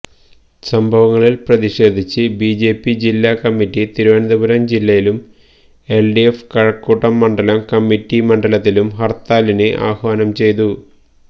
സംഭവങ്ങളില് പ്രതിഷേധിച്ച് ബിജെപി ജില്ലാ കമ്മിറ്റി തിരുവനന്തപുരം ജില്ലയിലും എല്ഡിഎഫ് കഴക്കൂട്ടം മണ്ഡലം കമ്മിറ്റി മണ്ഡലത്തിലും ഹര്ത്താലിന് ആഹ്വാനം ചെയ്തു